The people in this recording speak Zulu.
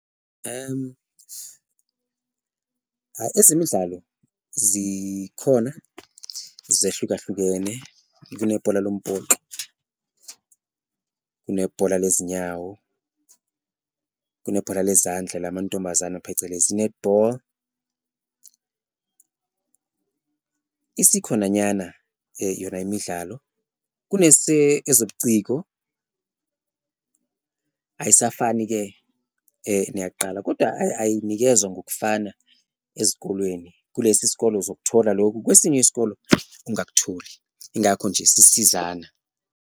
Ezemidlalo zikhona zehlukahlukene, kunebhola lombhoxo, kunebhola lezinyawo, kunebhola lezandla lamantombazane phecelezi i-netball, isikhona nyana yona imidlalo. Kune ezobuciko ayisafani-ke neyakuqala kodwa ayinikezwa ngokufana ezikolweni, kulesi isikolo uzokuthola lokhu, kwesinye isikolo ungakutholi ingakho nje sisizana.